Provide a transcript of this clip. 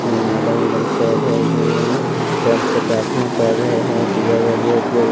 madam वडम सब है चर्च से प्रार्थना कर रहे हैं --